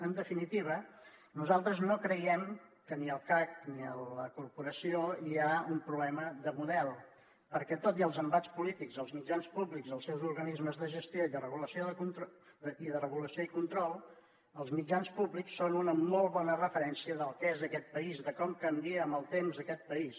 en definitiva nosaltres no creiem que ni al cac ni a la corporació hi hagi un problema de model perquè tot i els embats polítics als mitjans públics i els seus organismes de gestió i de regulació i control els mitjans públics són una molt bona referència del que és aquest país de com canvia amb el temps aquest país